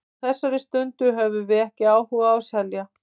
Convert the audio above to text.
Á þessari stundu höfum við ekki áhuga á að selja.